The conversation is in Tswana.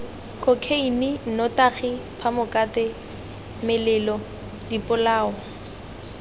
khokheine nnotagi phamokate melelo dipolao